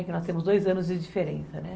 Porque nós temos dois anos de diferença, né?